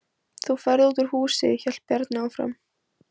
Þú ferð út úr húsi, hélt Bjarni áfram.